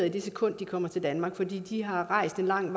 i det sekund de kommer til danmark fordi de har rejst langt